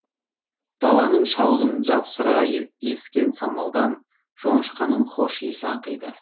даланың шалғынын жапыра ескен самалдан жоңышқаның хош иісі аңқиды